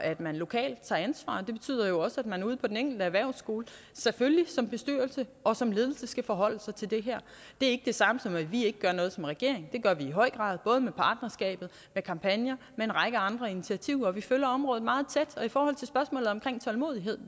at man lokalt tager ansvar det betyder jo også at man ude på den enkelte erhvervsskole selvfølgelig som bestyrelse og som ledelse skal forholde sig til det her det er ikke det samme som at vi ikke gør noget som regering det gør vi i høj grad både med partnerskabet med kampagner med en række andre initiativer vi følger området meget tæt og i forhold til spørgsmålet om tålmodighed